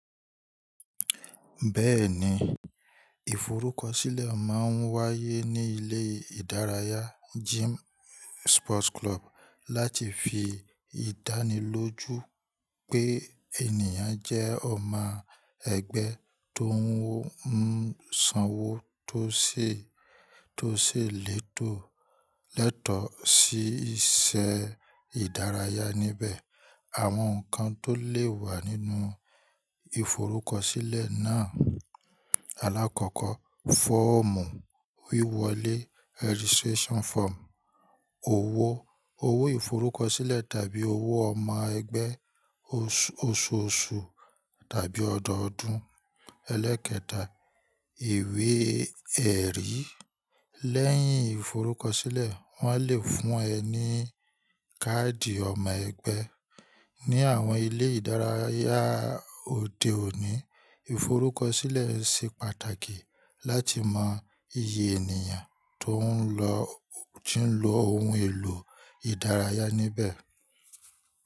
Bẹ́ẹ̀ni, ìforúkọsílẹ̀ máa ń wáyé ní ilé ìdárayá gym sports club láti fi ìdánilójú pé ènìyàn jẹ́ ọmọ ẹgbẹ́ tó ń sanwó tó sì lẹ́tọ̀ọ̀ sí isẹ́ ìdárayá níbẹ̀. Àwọn nǹkan tó lè wà nínú ìforúkọsílẹ̀ náà, alákọ̀ọ́kọ́ fọ́ọ̀mù wíwọlé registration form, owó ìforúkọsílẹ̀ tàbí owó ọmọ ẹgbẹ́, oṣooṣù tàbí ọdọọdún, ẹlẹ́kẹta, ìwé ẹ̀rí. Lẹ́yìn ìforúkọsílẹ̀, wọ́n lè fún ẹ ní káàdì ọmọ ẹgbẹ́. Ni àwọn ilé ìdárayá òde òní, ìforúkọsílẹ̀ ṣe pàtàkì láti mọ iye ènìyàn tó ń lò ohun èlò ìdárayá níbẹ̀.